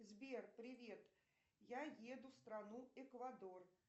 сбер привет я еду в страну эквадор